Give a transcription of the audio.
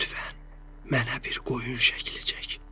Lütfən, mənə bir qoyun şəkli çək.